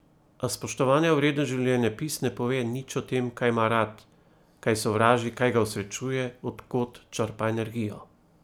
A spoštovanja vreden življenjepis ne pove nič o tem, kaj ima rad, kaj sovraži, kaj ga osrečuje, od kod črpa energijo.